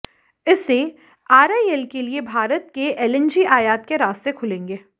इससे आरआईएल के लिए भारत में एलएनजी आयात के रास्ते खुलेंगे